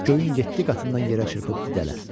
Göyün yeddi qatından yerə çırpıb didələr.